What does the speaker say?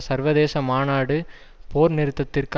சர்வதேச மாநாடு போர் நிறுத்தத்திற்கு